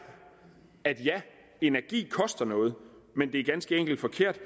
at ja energi koster noget men det er ganske enkelt forkert